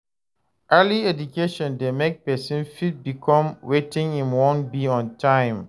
Early education de make persin fit become wetin im won be on time